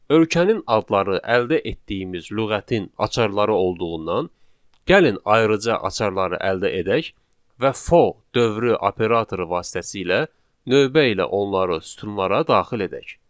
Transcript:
Ölkənin adları əldə etdiyimiz lüğətin açarları olduğundan gəlin ayrıca açarları əldə edək və for dövrü operatoru vasitəsilə növbə ilə onları sütunlara daxil edək.